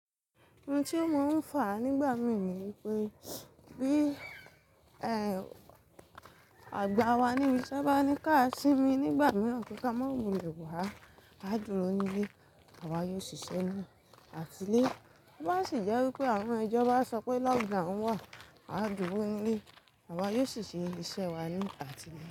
Ntí o mo ń fà nígbà mí ní pé bí ẹ àgbà wa níbi iṣé bá ní ká sími nígbà mìíràn kí ka má mú lè wà á dúró níle awa yóò ṣiṣẹ́ ní àtìlẹ́. Bá sì jẹ́ wípé àwọn ijobá sọ pé lockdown wà, à á dúró nile àwa yóò ṣiṣẹ́ ní iṣẹ́ wa ní àtìlẹ́